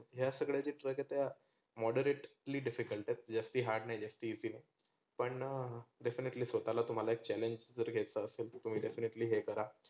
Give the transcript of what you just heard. ह्या सगळ्या trek आहे त्या moderately difficult आहेत. जास्ती hard नाही जास्त पण definitely स्वताला तुम्हाला एक challenge जर घेतलं असेल तर तुम्ही definitely हे करा.